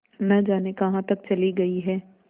न जाने कहाँ तक चली गई हैं